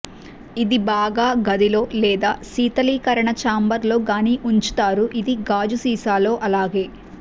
ఇది బాగా గది లో లేదా శీతలీకరణ ఛాంబర్లో గాని ఉంచుతారు ఇది గాజు సీసాలలో అలాగే